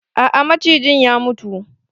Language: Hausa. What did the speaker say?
A'a macijin ya mutu.